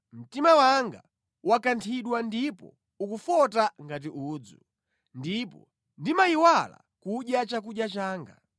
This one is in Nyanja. Mtima wanga wakanthidwa ndipo ukufota ngati udzu; ndipo ndimayiwala kudya chakudya changa.